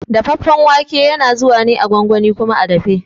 Dafaffen wake na zuwa ne a gwangwani kuma a dafe.